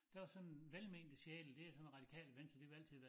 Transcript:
Der var sådan velmente sjæle det er sådan Radikale Venstre de vil altid være